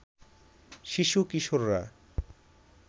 শিশু-কিশোররা